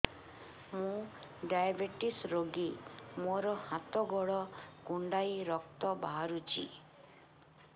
ମୁ ଡାଏବେଟିସ ରୋଗୀ ମୋର ହାତ ଗୋଡ଼ କୁଣ୍ଡାଇ ରକ୍ତ ବାହାରୁଚି